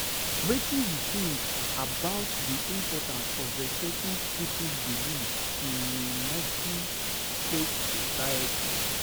Wetin you think about di importance of respecting people's beliefs in a multi-faith society?